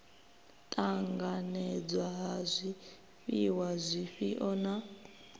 ṱanganedzwa ha zwifhiwa zwifhio na